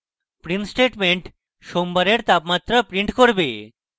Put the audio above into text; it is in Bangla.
print statement সোমবারের তাপমাত্রা print করবে